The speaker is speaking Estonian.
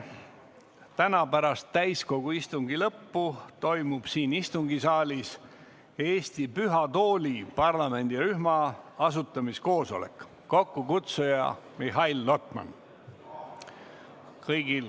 Täna pärast täiskogu istungi lõppu toimub siin istungisaalis Eesti Püha Tooli parlamendirühma asutamise koosolek, kokkukutsuja on Mihhail Lotman.